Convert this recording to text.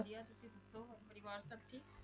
ਵਧੀਆ, ਤੁਸੀਂ ਦੱਸੋ ਹੋਰ ਪਰਿਵਾਰ ਸਭ ਠੀਕ?